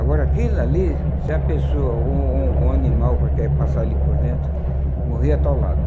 Agora, aquilo ali, se a pessoa, ou ou ou um animal, que ia passar ali por dentro, morria atolado.